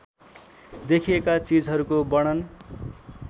देखिएका चिजहरूको वर्णन